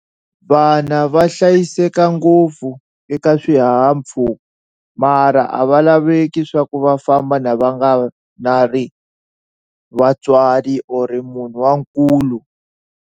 Vana va hlayiseka ngopfu eka swihahampfhuka mara a va laveki swa ku va famba na va nga vatswari or munhu wa nkulu.